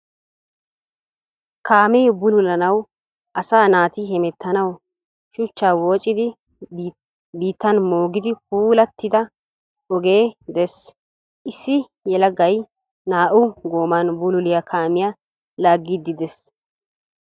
Kaammee bulullanawu asaa naati hemeetanawu shuchcha woccidi biittan moogin pullaatida oge dees. Issi yeelaagayi naa^u goman buululliya kaammiya laagiddi dees.